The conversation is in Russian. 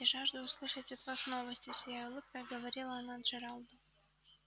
я жажду услышать от вас новости сияя улыбкой говорила она джералду